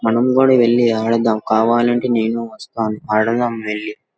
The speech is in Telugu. మనం కూడా వెళ్లి ఆడదాం. కావాలంటే నేను వస్తాను.